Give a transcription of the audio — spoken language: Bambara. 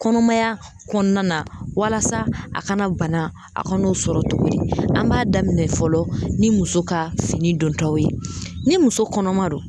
Kɔnɔmaya kɔnɔna walasa a kana bana a ka n'o sɔrɔ togo di an m'a daminɛ fɔlɔ ni muso ka fini dontaw ye ni muso kɔnɔma don